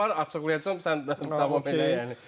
Mənim öz heyətim var, açıqlayacam, sən davam elə yəni.